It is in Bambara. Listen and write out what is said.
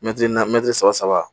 Mɛtiri na mɛtiri saba